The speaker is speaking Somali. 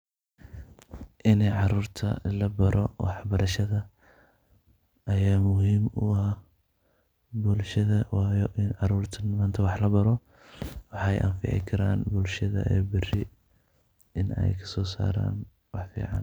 Inay caruurta la baro waxbarashada ayaa muhiim u ah bulshada. Waayo, in caruurta maanta wax la baro waxay anfici karaan bulshada berri in ay kasoo saaraan wax fiican.